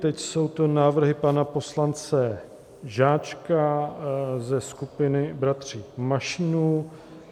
Teď jsou tu návrhy pana poslance Žáčka ze skupiny bratří Mašínů.